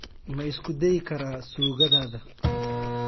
Ma isku dayi karaa suugadaada?